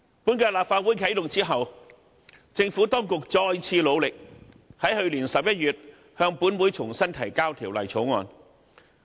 本屆立法會啟動後，政府當局再次努力，在去年11月向本會重新提交《條例草案》。